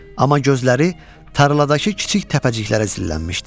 Amma gözləri tarladakı kiçik təpəciklərə zillənmişdi.